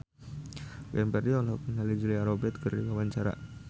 Glenn Fredly olohok ningali Julia Robert keur diwawancara